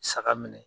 Saga minɛ